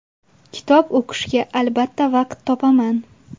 Kitob o‘qishga albatta vaqt topaman.